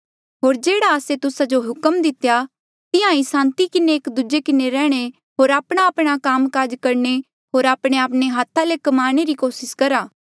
होर जेह्ड़ा आस्से तुस्सा जो हुक्म दितेया तिहां ईं सांति किन्हें एक दूजे किन्हें रैहणे होर आपणाआपणा काम काज करणे होर आपणेआपणे हाथा ले क्माणे री कोसिस करा